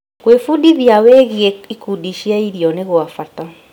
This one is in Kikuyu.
Gwĩbundithia wĩgiĩ ikundi cia irio nĩ gwa bata.